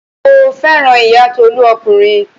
Mo fẹ́ràn ọmọ ìyá Tolú ọkùnrin.